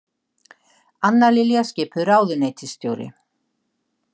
Anna Lilja skipuð ráðuneytisstjóri